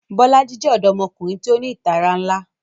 Bolaji jẹ ọdọmọkunrin ti o ni itara nla